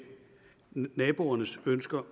naboernes ønsker